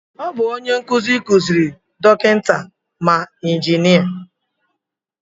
Ọ bụ onye nkụzi kuziri ma dọkịta ma injinia